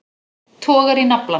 Togar í naflann.